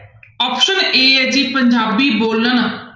Option a ਹੈ ਜੀ ਪੰਜਾਬੀ ਬੋਲਣ